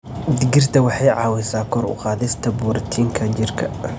Digirta waxay caawisaa kor u qaadista borotiinka jidhka.